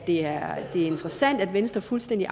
er interessant at venstre fuldstændig